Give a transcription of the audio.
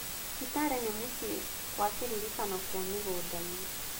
Kitale nĩ mũciĩ kwa kĩririkano kĩa mĩgũnda-inĩ.